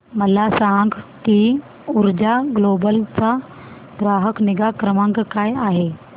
मला सांग की ऊर्जा ग्लोबल चा ग्राहक निगा क्रमांक काय आहे